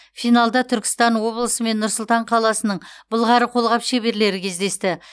финалда түркістан облысы мен нұр сұлтан қаласының былғары қолғап шеберлері кездесті